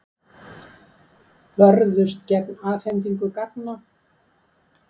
Börðust gegn afhendingu gagna